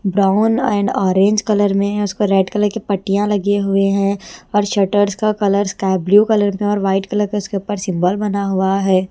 Brown and orange colour में उस पर रेड कलर की पट्टियां लगे हुए है और शटर्स का कलर स्काई ब्लू कलर में है और व्हाइट कलर का उसके ऊपर सिंबॉल बना हुआ है।